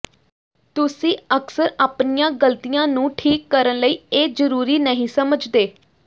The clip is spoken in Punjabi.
ਤੁਸੀਂ ਅਕਸਰ ਆਪਣੀਆਂ ਗ਼ਲਤੀਆਂ ਨੂੰ ਠੀਕ ਕਰਨ ਲਈ ਇਹ ਜ਼ਰੂਰੀ ਨਹੀਂ ਸਮਝਦੇ